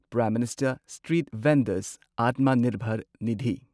prime minister street vendors Atmanirbhar Nidhi